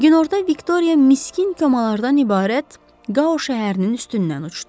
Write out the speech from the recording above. Günorta Viktoriya miskin komalardan ibarət Qao şəhərinin üstündən uçdu.